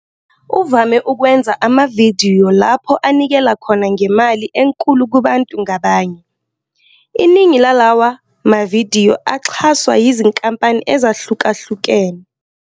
Uvame ukwenza amavidiyo lapho anikela khona ngemali enkulu kubantu ngabanye, iningi lalawa mavidiyo axhaswa yizinkampani ezahlukahlukene.